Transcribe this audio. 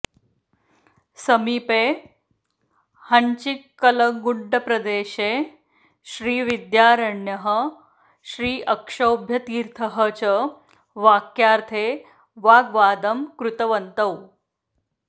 समीपे हञ्चिकल्लगुड्डप्रदेशे श्रीविद्यारण्यः श्रीअक्षोभ्यतीर्थः च वाक्यार्थे वाग्वादं कृतवन्तौ